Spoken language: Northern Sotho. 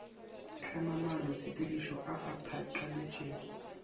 hlamang maanotshepedišo a a phatlaletšego